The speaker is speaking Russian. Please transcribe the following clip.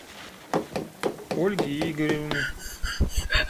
ольги игоревны